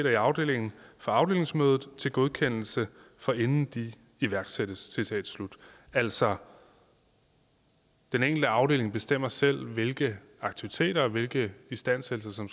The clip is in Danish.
i afdelingen for afdelingsmødet til godkendelse forinden de iværksættes citat slut altså den enkelte afdeling bestemmer selv hvilke aktiviteter og hvilke istandsættelser